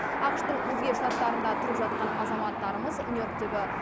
ақш тың өзге штаттарында тұрып жатқан азаматтарымыз нью йорктегі